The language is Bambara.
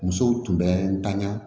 Musow tun bɛ n tanya